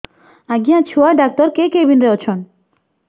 ଆଜ୍ଞା ଛୁଆ ଡାକ୍ତର କେ କେବିନ୍ ରେ ଅଛନ୍